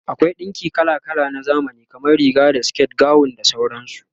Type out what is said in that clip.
akwai ɗinki kala kala na zamani, kamar Riga da siket, gawon da sauransu